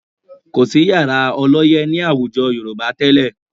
Kò sí yàrá ọlọ́yẹ́ ní àwùjọ Yorùbá tẹ́lẹ̀